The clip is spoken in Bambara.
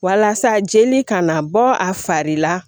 Walasa jeli kana bɔ a fari la